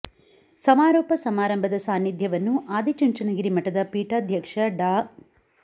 ಸಮಾರೋಪ ಸಮಾರಂಭ ದ ಸಾನ್ನಿಧ್ಯವನ್ನು ಆದಿ ಚುಂಚನಗಿರಿ ಮಠದ ಪೀಠಾಧ್ಯಕ್ಷ ಡಾ